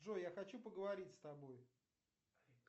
джой я хочу поговорить с тобой